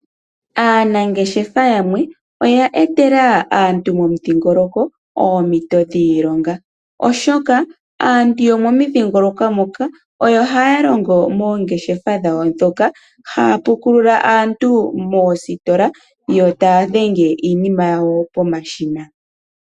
Aanangeshefa yamwe, oya etela aantu momidhingoloko oompito dhiilonga, oshoka aantu yomomidhingoloko moko oya haya longo moongeshefa dhawo dhoka, haya pukulula aantu moositola, yo ta ya dhenge iinima yawo pomashina.